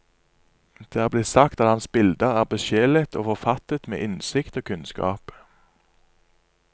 Det er blitt sagt at hans bilder er besjelet og forfattet med innsikt og kunnskap.